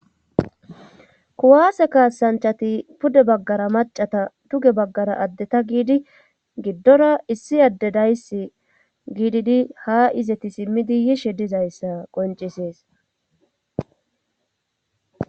kuwaase kaasanchati pude baggara macata tuge baggara addeta giidi giddora issi adde daysi giididi ha izeti simmidi yishe dizayssa qoncisees